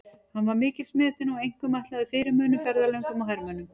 Hann var mikils metinn og einkum ætlaður fyrirmönnum, ferðalöngum og hermönnum.